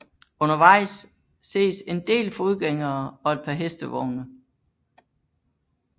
Undervejs ses en del fodgængere og et par hestevogne